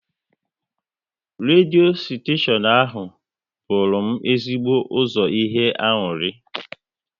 Redio steshion ahụ bụru m ezigbo ụzọ ihe aṅụrị